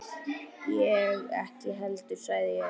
Ég ekki heldur sagði ég.